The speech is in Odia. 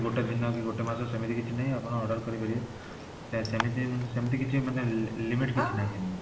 ଗୋଟେ ଦିନକି ଗୋଟେ ମାସ ସେମିତି କିଛି ନାହିଁ ଆପଣ order କରିପାରିବେ ପ୍ରାୟ ସେମିତି ସେମିତି କିଛି ମାନେ limit କିଛି ନାହିଁ